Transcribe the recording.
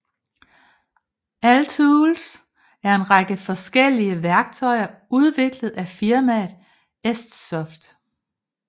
Altools er en række forskellelige værktøjer udviklet af firmaet ESTsoft